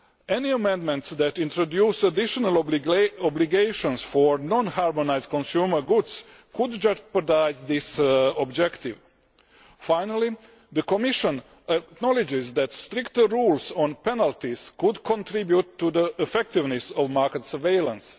Any amendments that introduce additional obligations for non harmonised consumer goods could jeopardise this objective. Finally, the Commission acknowledges that stricter rules on penalties could contribute to the effectiveness of market surveillance.